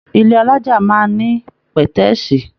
Ilé alájà máa ní pẹ̀tẹ́sí.